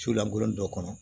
Sulankolon dɔ kɔnɔ